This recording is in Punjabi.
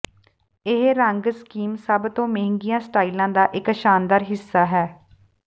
ਇਹ ਰੰਗ ਸਕੀਮ ਸਭ ਤੋਂ ਮਹਿੰਗੀਆਂ ਸਟਾਈਲਾਂ ਦਾ ਇੱਕ ਸ਼ਾਨਦਾਰ ਹਿੱਸਾ ਹੈ